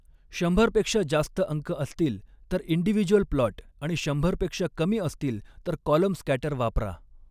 शंभरपेक्षा जास्त अङ्क असतील तर इंडिविजूअल प्लॉट आणि शंभरपेक्षा कमी असतील तर कॉलम स्कॅटर वापरा.